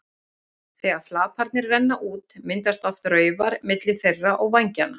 Þegar flaparnir renna út myndast oft raufar milli þeirra og vængjanna.